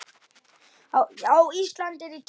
Já, Ísland er í tísku.